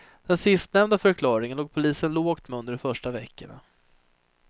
Den sistnämnda förklaringen låg polisen lågt med under de första veckorna.